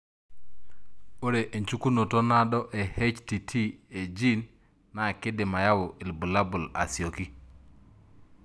Ore enchukunoto naado e HTT e gene na kindim ayau ilbulabul asioki.